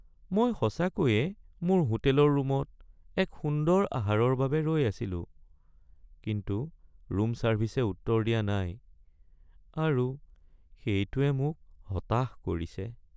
মই সঁচাকৈয়ে মোৰ হোটেলৰ ৰূমত এক সুন্দৰ আহাৰৰ বাবে ৰৈ আছিলো, কিন্তু ৰূম ছাৰ্ভিছে উত্তৰ দিয়া নাই আৰু সেইটোৱে মোক হতাশ কৰিছে।